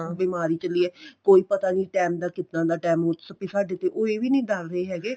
ਬਿਮਾਰੀ ਚੱਲੀ ਏ ਕੋਈ ਪਤਾ ਨੀਂ time ਦਾ ਕਿੱਦਾਂ ਦਾ time ਸਾਡੇ ਤੇ ਉਹ ਇਹ ਵੀ ਨੀਂ ਦੱਸਦੇ ਹੈਗੇ